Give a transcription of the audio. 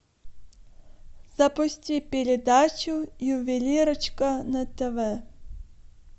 запусти передачу ювелирочка на тв